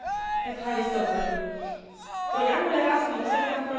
Programul Erasmus este un program emblematic al Uniunii Europene.